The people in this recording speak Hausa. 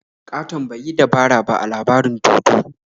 Ƙaton ba yi dabara ba a labarin dodo.